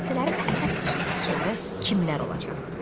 Hadisələrin əsas iştirakçıları kimlər olacaq?